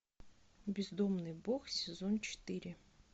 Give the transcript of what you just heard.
бездомный бог сезон четыре